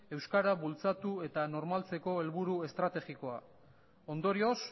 euskara bultzatu eta normaltzeko helburu estrategiko ondorioz